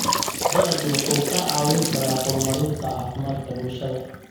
Dalaggu wuxuu kaa caawin karaa horumarinta caafimaadka bulshada.